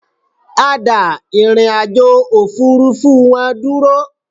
A dà ìrìnàjò òfurufú wọn dúró